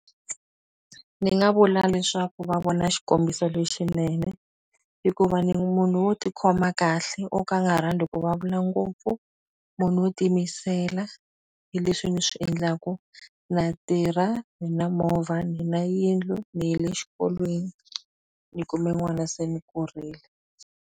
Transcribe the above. Ni nga vula leswaku va vona xikombiso lexinene hikuva ni munhu wo tikhoma kahle o ka a nga rhandzi ku ngopfu munhu wo ti mi yisela hi leswi ni swi endlaku na tirha ni na movha ni na yindlu ni yile xikolweni ni kumbe n'wana se ni kurile.